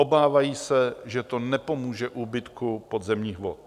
Obávají se, že to nepomůže úbytku podzemních vod.